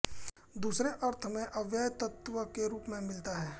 दूसरे अर्थ में अवयव तत्त्व के रूप में मिलता है